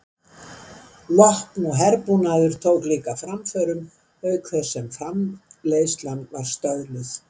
Vopn og herbúnaður tók líka framförum auk þess sem framleiðslan var stöðluð.